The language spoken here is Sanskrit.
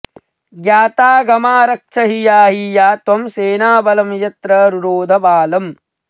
ज्ञातागमा रक्ष हि याहि या त्वं सेना बलं यत्र रुरोध बालम्